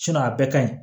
a bɛɛ ka ɲi